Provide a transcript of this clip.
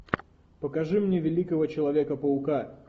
покажи мне великого человека паука